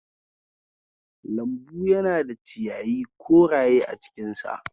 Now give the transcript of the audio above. Lambu yana da ciyayi koraye a cinkinsa.